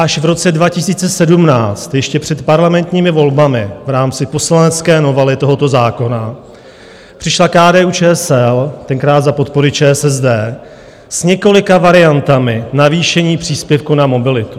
Až v roce 2017, ještě před parlamentními volbami v rámci poslanecké novely tohoto zákona, přišla KDU-ČSL, tenkrát za podpory ČSSD, s několika variantami navýšení příspěvku na mobilitu.